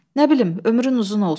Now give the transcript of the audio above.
Nə bilim, ömrün uzun olsun.